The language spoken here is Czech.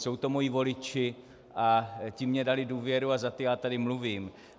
Jsou to moji voliči a ti mně dali důvěru a za ty já tady mluvím.